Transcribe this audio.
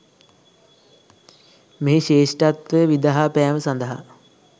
මෙහි ශ්‍රේෂ්ඨත්වය විදහා පෑම සඳහා